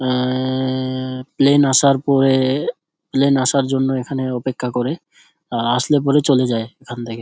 অ্যাঅ্যাঅ্যা plane আসার পরে plane আসার জন্য অপেক্ষা করে আর আসলে পরে চলে যায় এখান থেকে।